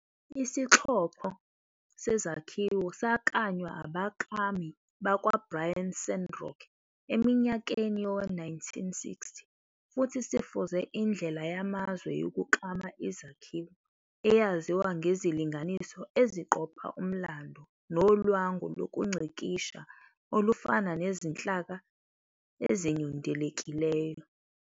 Isixhoxho sezakhiwo saklanywa abaklami bakwa-Bryan Sandrock eminyakeni yowe-1960 futhi sifuze indlela yamazwe yokuklama izakhiwo eyaziwa ngezilinganiso eziqopha umlando nolwangu lokungcikisha olufana nezinhlaka ezinyundekileyo.